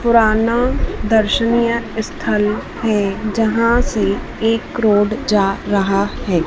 पुराना दर्शनीय स्थल है जहां से एक रोड जा रहा है।